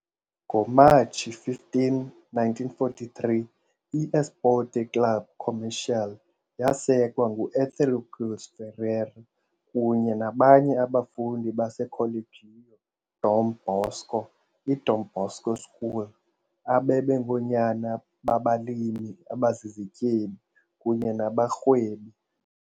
NgoMatshi 15, 1943, I-Esporte Clube Comercial yasekwa ngu-Etheócles Ferreira kunye nabanye abafundi baseColégio Dom Bosco iDom Bosco School, babe bengoonyana babalimi abazizityebi kunye nabarhwebi.